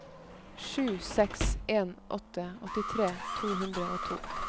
sju seks en åtte åttitre to hundre og to